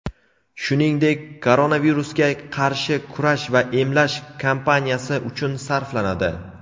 shuningdek koronavirusga qarshi kurash va emlash kampaniyasi uchun sarflanadi.